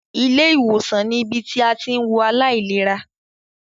Ilé ìwòsàn ní ibi tí a tí ń wo àìlera.